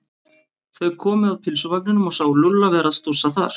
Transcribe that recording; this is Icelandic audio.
Þau komu að pylsuvagninum og sáu Lúlla vera að stússa þar.